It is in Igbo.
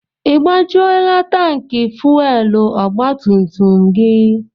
I gbajuola tanki fuwelu ọgba tum tum gị?